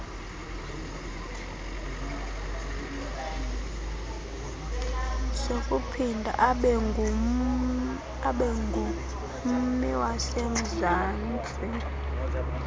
sokuphinda abengummi wasemzansti